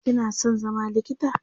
kina San zama likita?